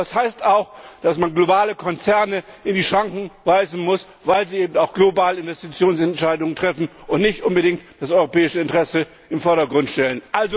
Das heißt auch, dass man globale Konzerne in die Schranken weisen muss, weil sie eben auch globale Investitionsentscheidungen treffen und nicht unbedingt das europäische Interesse in den Vordergrund stellen.